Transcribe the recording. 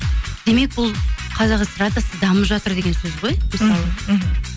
демек бұл қазақ эстрадасы дамып жатыр деген сөз ғой мысалы мхм